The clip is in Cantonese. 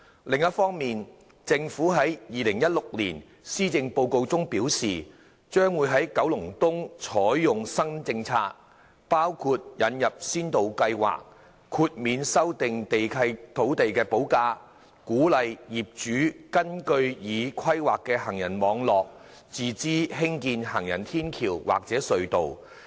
另一方面，政府在2016年《施政報告》中表示，將在九龍東採用新政策，包括引入先導計劃，豁免修訂契約土地補價，鼓勵業主根據已規劃的行人網絡自資興建行人天橋或隧道。